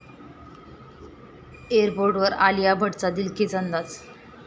एअरपोर्टवर आलिया भटचा दिलखेच अंदाज!